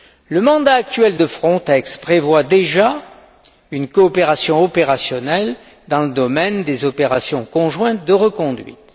Le mandat actuel de Frontex prévoit déjà une coopération opérationnelle dans le domaine des opérations conjointes de reconduite.